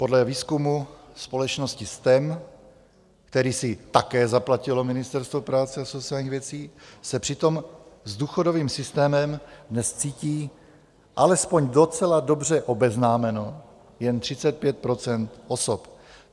Podle výzkumu společnosti STEM, který si také zaplatilo Ministerstvo práce a sociálních věcí, se přitom s důchodovým systémem dnes cítí alespoň docela dobře obeznámeno jen 35 % osob.